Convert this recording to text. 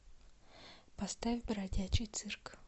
поставь бродячий цирк